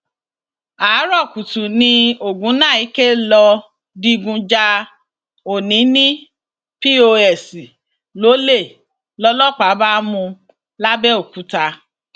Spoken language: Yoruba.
àárò kùtù ni ògúnnáìkè lọọ digun ja ọnini pọs lọlẹ lọlọpàá bá mú un làbẹòkúta